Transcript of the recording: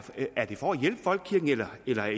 det for at hjælpe folkekirken eller er